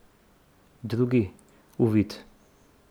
Drugi, uvid.